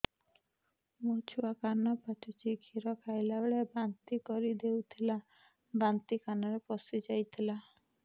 ମୋ ଛୁଆ କାନ ପଚୁଛି କ୍ଷୀର ଖାଇଲାବେଳେ ବାନ୍ତି କରି ଦେଇଥିଲା ବାନ୍ତି କାନରେ ପଶିଯାଇ ଥିଲା